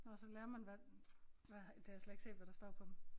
Nåh og så lærer man hvad hvad det har jeg slet ikke set hvad der står på dem